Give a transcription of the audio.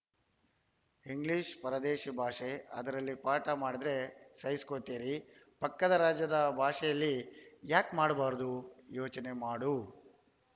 English ಪರದೇಶಿ ಭಾಷೆ ಅದರಲ್ಲಿ ಪಾಠ ಮಾಡಿದ್ರೆ ಸಹಿಸ್ಕೋತೀರಿ ಪಕ್ಕದ ರಾಜ್ಯದ ಭಾಷೇಲಿ ಯಾಕ್‌ ಮಾಡಬಾರದು ಯೋಚನೆ ಮಾಡು